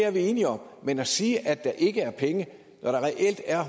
er vi enige om men at sige at der ikke er penge når der reelt er